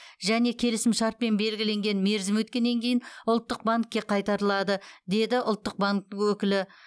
және келісімшартпен белгіленген мерзім өткеннен кейін ұлттық банкке қайтарылады деді ұлттық банктің өкілі